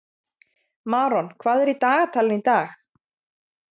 Maron, hvað er í dagatalinu í dag?